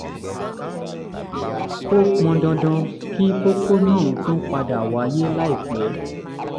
ó pọn dandan kí kókó náà tún padà wáyé láìpẹ́